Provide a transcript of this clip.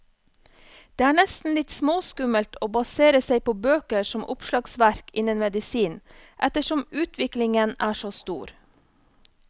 Det er nesten litt småskummelt å basere seg på bøker som oppslagsverk innen medisin, ettersom utviklingen er så stor.